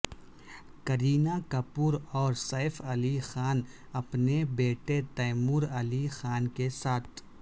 کرینہ کپور اور سیف علی خان اپنے بیٹے تیمور علی خان کے ساتھ